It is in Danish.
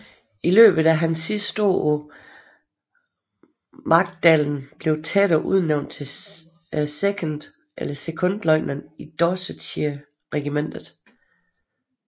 I løbet af hans sidste år på Magdalen blev Tedder udnævnt til sekondløjtnant i Dorsetshire Regiment